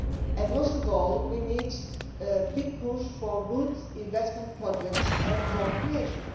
and most of all we need a big push for good investment projects and job creation.